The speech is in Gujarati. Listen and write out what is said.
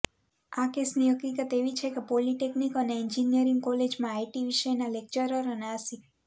આ કેસની હકીકત એવી છે કે પોલિટેક્નિક અને એન્જિનિયરિંગ કોલેજમાં આઇટી વિષયના લેક્ચરર અને આસિ